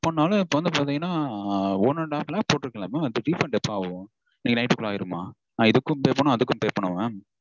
பண்ணாலும் இப்போ வந்து பாத்தீங்கனா one and half lakh போட்டிருக்கேன்ல mam அது refund எப்போ ஆகும்? இன்னைக்கு night -டுக்குள்ள ஆயிருமா? நா இதுக்கும் pay பண்ணானும் அதுக்கும் pay பண்ணனுமா mam?